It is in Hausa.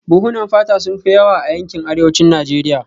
Buhunan fata sun fi yawa a yankin arewacin Najeriya